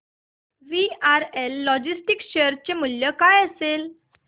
VRL logistics share चे मूल्य काय असेल